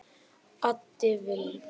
Addi Vill